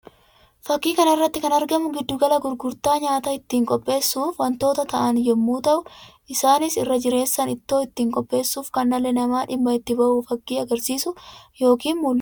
Fakkii kana irratti kan argamu giddu gala gurgurtaa nyaata ittiin qopheessuuf wantoota ta'an yammuu ta'u; isaanis irra jireessaan ittoo ittiin qopheessuuf kan dhalli namaa dhimma itti bahuu fakkii agarsiisuu yookiin mul'isuu dha.